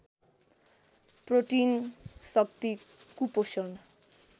protein शक्ति कुपोषण